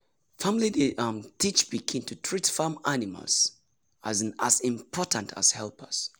family dey um teach pikin to treat farm animal um as important helpers.